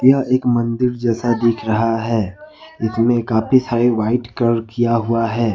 यह एक मंदिर जैसा दिख रहा है इसमें काफी सारे व्हाइट कलर किया हुआ है।